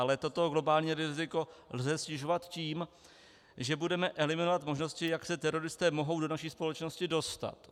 Ale toto globální riziko lze snižovat tím, že budeme eliminovat možnosti, jak se teroristé mohou do naší společnosti dostat.